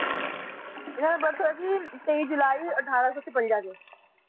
ਇਹਨਾ ਦਾ birth ਹੋਇਆ ਸੀ ਤਾਈ ਜੁਲਾਈ ਅਠਾਰਸੋ ਛਪੰਜਾ